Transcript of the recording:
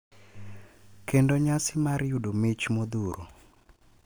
Kendo nyasi mar yudo mich modhuro.